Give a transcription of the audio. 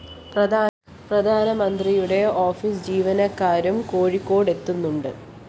പ്രധാനമന്ത്രിയുടെ ഓഫീസ്‌ ജീവനക്കാരും കോഴിക്കോട് എത്തുന്നുണ്ട്